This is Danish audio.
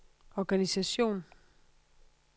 organisation